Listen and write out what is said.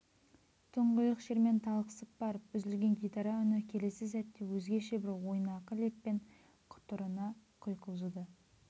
тұңғиық шермен талықсып барып үзілген гитара үні келесі сәтте өзгеше бір ойнақы леппен құтырына құйқылжыды